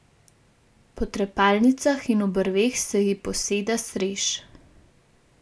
Po trepalnicah in obrveh se ji poseda srež.